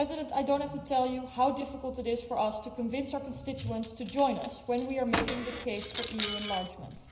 I do not have to tell you how difficult it is for us to convince our constituents to join us when we are making the case for EU enlargement.